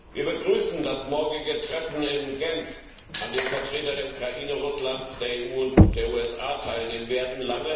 Wir begrüßen das morgige Treffen in Genf, an dem Vertreter der Ukraine, Russlands, der EU und der USA teilnehmen werden.